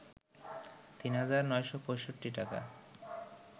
৩ হাজার ৯৬৫ টাকা